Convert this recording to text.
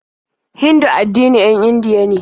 Hindu addinin 'yan Indiya be.